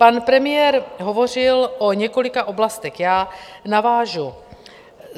Pan premiér hovořil o několika oblastech, já navážu.